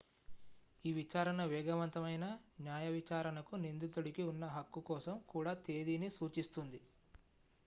ఈ విచారణ వేగవంతమైన న్యాయవిచారణకు నిందితుడికి ఉన్న హక్కు కోసం కూడా తేదీని సూచిస్తుంది